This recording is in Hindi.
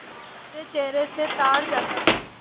मेरे चेहरे से ताड़ जाता